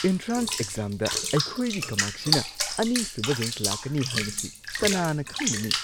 Entrance ꯑꯦꯛꯖꯥꯝꯗ ꯑꯩꯈꯣꯏꯒꯤ ꯀꯃꯥꯛꯁꯤꯅ ꯑꯅꯤꯁꯨꯕ ꯔꯦꯡꯛ ꯂꯥꯛꯀꯅꯤ ꯍꯥꯏꯕꯁꯤ ꯀꯅꯥꯅ ꯈꯪꯂꯨꯅꯤ?